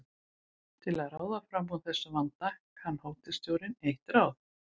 Til að ráða fram úr þessum vanda kann hótelstjórinn eitt ráð.